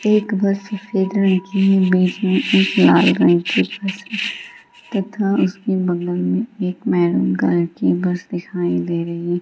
एक बस सफ़ेद रंग की है | बिच में एक लाल रंग की बस है तथा उसके बगल में एक मैरून कलर की बस दिखाई दे रही है।